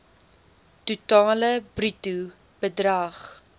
totale bruto bedrag